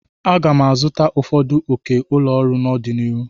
M ga-azụta ụfọdụ oke ụlọ ọrụ n'ọdịnihu.